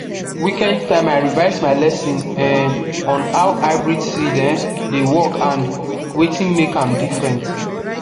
weekend time i revise my lesson um on how hybrid seed um dey work and wetin make am different